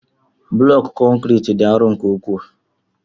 Blọku konkriiti dị arọ nke ukwuu.